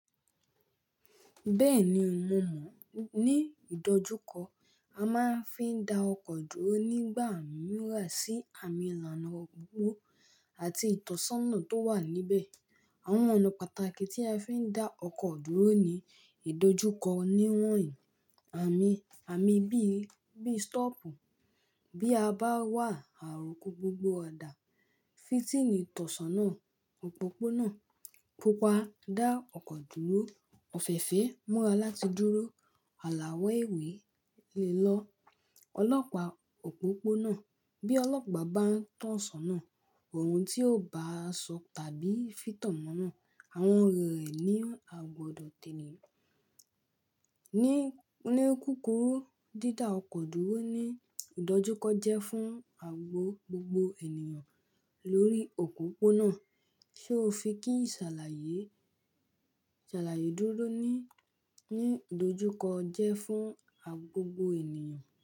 Bẹ́ẹ̀ni mo mọ̀, ní ìdojúkọ a máa ń fi da ọkọ̀ dúró nígbà mìràn sí àmì ìlànà òpópó àti ìtọ́sàná tó wà níbẹ̀. Àwọn ọ̀nà pàtàkì tí a fi ń dá ọkọ̀ dúró ní ìdojúkọ ni wọ̀nyí: Àmì, àmì bí, bí stop, bí a bá wà áro ko gbogbo ọ̀dà, fítìnì ìtọ́sàná òpópónà kópa dá ọkọ̀ dúró. Òfèfé múra láti dúró. Àlàwọ̀ ewé lè lọ ọlọ́pàá òpópónà. Bí ọlọ́pàa bá ń to ṣoná, ohun tí ó bá sọ tàbí fìtọ̀ mọ́ náà, àwọn èrò rẹ̀ ni a gbọdọ̀ tènìyàn. Ni kúkúrú, dídá ọkọ̀ dúró ní ìdojúkọ jẹ́ fún àgbo gbogbo ènìyàn lórí òpópónà. Ṣé o fi kí ìsàlàyé, ìsàlàyé dúró ní, ní ìdojúkọ jẹ́ fún àgbo gbogbo ènìyàn?